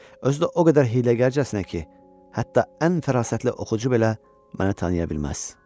Özü də o qədər hiyləgərcəsinə ki, hətta ən fərasətli oxucu belə məni tanıya bilməz.